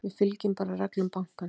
Við fylgjum bara reglum bankans.